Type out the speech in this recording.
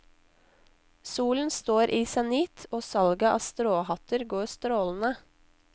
Solen står i senit og salget av stråhatter går strålende.